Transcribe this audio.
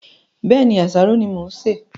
Bẹ́ẹ̀ni, àsáró ni mo ń ṣe